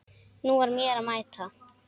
Nú var mér að mæta!